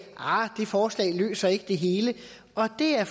ahr det forslag løser ikke det hele og det er